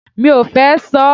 Mi ò fẹ́ ṣọ.